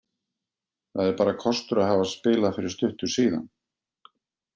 Það er bara kostur að hafa spilað fyrir stuttu síðan.